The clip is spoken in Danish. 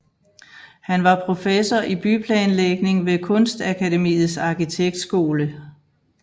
Han var professor i byplanlægning ved Kunstakademiets Arkitektskole